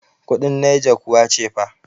kudin niger kuwa cefa